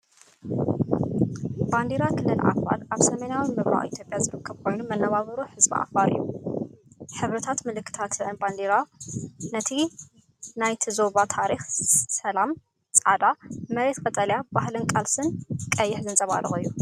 ባንዴራ ክልል ዓፋር፣ ኣብ ሰሜናዊ ምብራቕ ኢትዮጵያ ዝርከብ ኮይኑ መነባብሮ ህዝቢ ዓፋር እዩ። ሕብርታትን ምልክታትን ናይታ ባንዴራ ነቲ ናይቲ ዞባ ታሪኽ ሰላም (ጻዕዳ)፡ መሬት (ቀጠልያ)፡ ባህልን ቃልስን (ቀይሕ) ዘንጸባርቕ እዩ።